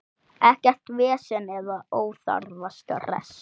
Ekkert vesen eða óþarfa stress.